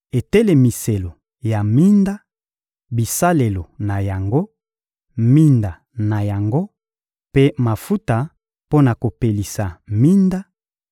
etelemiselo ya minda, bisalelo na yango, minda na yango mpe mafuta mpo na kopelisa minda,